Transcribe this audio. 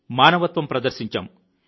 మానవత్వం ప్రదర్శించాం